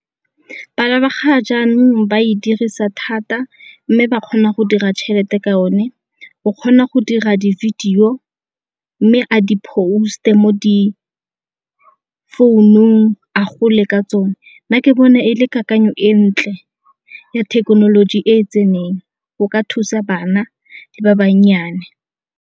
Bana ba ga jaanong ba e dirisa thata mme ba kgona go dira tšhelete ka yone, o kgona go dira di-video mme a di-post-e mo di founung a gole ka tsone. Nna ke bona e le kakanyo e ntle ya thekenoloji e e tseneng go ka thusa bana le ba bannyane.